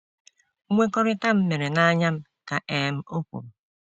Nkwekọrịta m mere na anya m, ka um ọ kwuru.